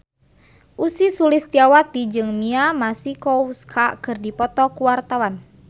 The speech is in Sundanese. Ussy Sulistyawati jeung Mia Masikowska keur dipoto ku wartawan